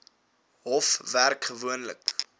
hof werk gewoonlik